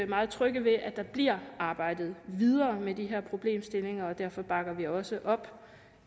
meget trygge ved at der bliver arbejdet videre med de her problemstillinger og derfor bakker vi også op